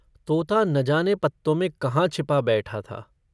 तोता न जाने पत्तों में कहाँ छिपा बैठा था।